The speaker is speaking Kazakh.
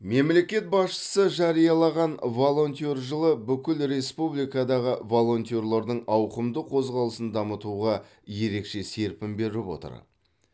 мемлекет басшысы жариялаған волонтер жылы бүкіл республикадағы волонтерлердің ауқымды қозғалысын дамытуға ерекше серпін беріп отыр